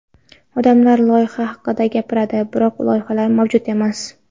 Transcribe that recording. Odamlar loyiha haqida gapiradi, biroq loyihalar mavjud emas.